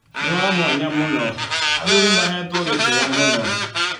Nĩ wa mwanya mũno. Athuri maheetwo gĩtĩo mũno.